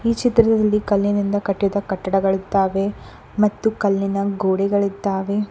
ಈ ಚಿತ್ರದಲ್ಲಿ ಕಲ್ಲಿನಿಂದ ಕಟ್ಟಿದ ಕಟ್ಟಡಗಾಳಿದ್ದಾವೆ ಮತ್ತು ಕಲ್ಲಿನ ಗೋಡೆಗಳಿದ್ದಾವೆ.